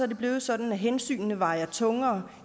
det blevet sådan at hensynene vejer tungere